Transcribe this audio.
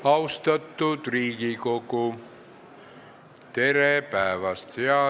Austatud Riigikogu, tere päevast!